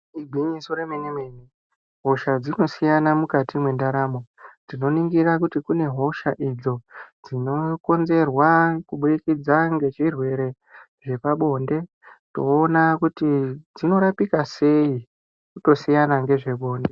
Igwinyiso remenemene hosha dzinosiyana mukati mwendaramo tinoningira juti kune hosha idzo dzinokonzerwa kubudikidza ngezvirwere zvepabonde toona kuti zvinorapika sei tosiyana ngezvebonde.